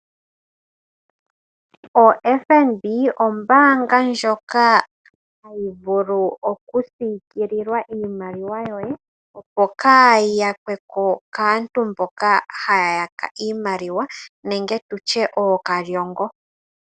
OFNB ombaanga ndjoka hayi vulu okusiikilila iimaliwa yoye, opo kaayi yakwe po kaantu mboka haya yaka iimaliwa nenge tu tye ookalyongo.